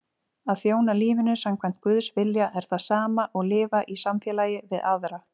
Að þjóna lífinu samkvæmt Guðs vilja er það sama og lifa í samfélagi við aðra.